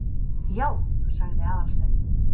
Já- sagði Aðalsteinn.